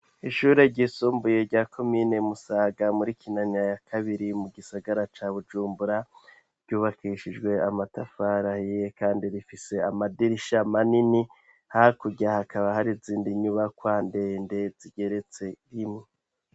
Ishure ryisumbuye rya Komine Musaga muri Kinanira ya Kabiri mu gisagara ca Bujumbura, ryubakishijwe amatafari ahiye kandi rifise amadirisha manini. Hakurya hakaba hari izindi nyubakwa ndende zigeretse rimwe.